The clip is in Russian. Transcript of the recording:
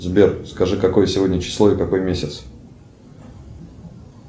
сбер скажи какое сегодня число и какой месяц